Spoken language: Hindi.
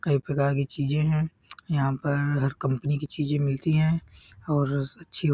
कई प्रकार की चीजे हैं यहां पर हर कंपनी की चीजे मिलती हैं और अच्छी हो --